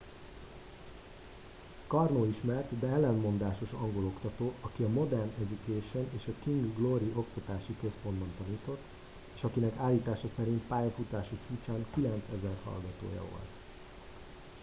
karno ismert de ellentmondásos angol oktató aki a modern education és a king's glory oktatási központokban tanított és akinek állítása szerint pályafutása csúcsán 9000 hallgatója volt